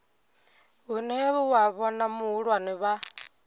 hune wa vhona vhahulwane vha